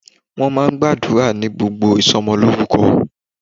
Wọ́n máa ń gbàdúrà ní gbogbo ìsọmọlórúkọ.